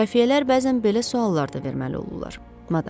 Xəfiyyələr bəzən belə suallar da verməli olurlar, madam.